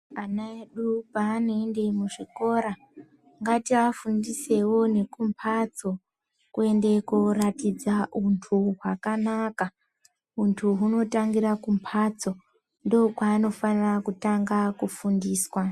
Ana edu paano ende kuchikora ngati afundisewo neku mhatso kuende koratidza untu wakanaka untu huno tangira kumbatso ndokwano fanira ku fundiswa .